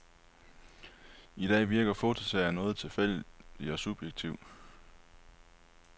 I dag virker fotoserien noget tilfældig og subjektiv.